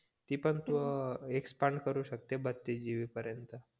ती पण तू अं एक्सपांड करू शकते बत्तीस GB पर्यंत